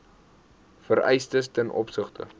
vereistes ten opsigte